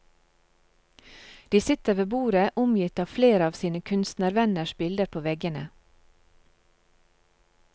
De sitter ved bordet omgitt av flere av sine kunstnervenners bilder på veggene.